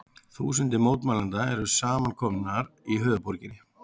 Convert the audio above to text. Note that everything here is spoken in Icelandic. Þúsundir mótmælenda eru samankomnar í höfuðborginni